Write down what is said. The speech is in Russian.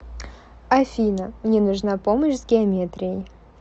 афина мне нужна помощь с геометрией